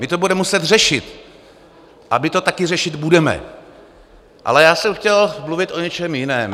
My to budeme muset řešit a my to taky řešit budeme, ale já jsem chtěl mluvit o něčem jiném.